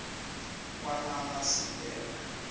kwakanamasilela